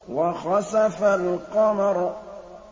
وَخَسَفَ الْقَمَرُ